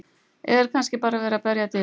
Eða er kannski bara verið að berja að dyrum?